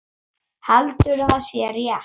Heldur að sé rétt.